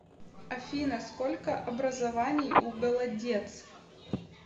афина сколько образований у голодец